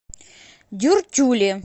дюртюли